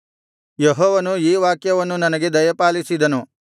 ಯೆಹೋವನು ಈ ವಾಕ್ಯವನ್ನು ನನಗೆ ದಯಪಾಲಿಸಿದನು